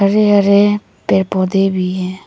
हरे हरे पेड़ पौधे भी हैं।